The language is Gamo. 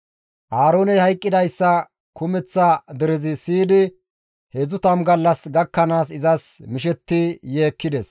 Aarooney hayqqidayssa kumeththa derezi siyidi 30 gallas gakkanaas izas mishettidi yeekkides.